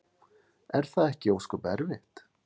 Er það ekki ósköp erfitt?